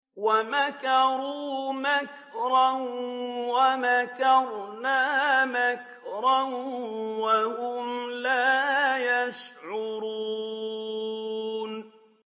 وَمَكَرُوا مَكْرًا وَمَكَرْنَا مَكْرًا وَهُمْ لَا يَشْعُرُونَ